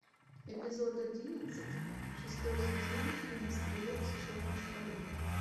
эпизод одиннадцать шестой сезон фильм стрелок с черной скалы